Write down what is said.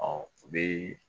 Ɔ u bɛ